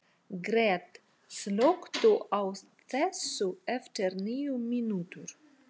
Gret, slökktu á þessu eftir níu mínútur.